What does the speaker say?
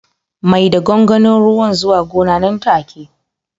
Mai da gwangwanin ruwan zuwa gona nan take